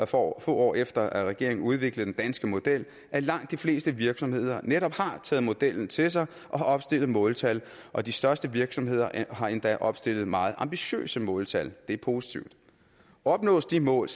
få år efter at regeringen udviklede den danske model at langt de fleste virksomheder netop har taget modellen til sig og har opstillet måltal og de største virksomheder har endda opstillet meget ambitiøse måltal det er positivt opnås de mål